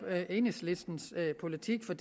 enhedslistens politik for